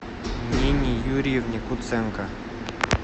нине юрьевне куценко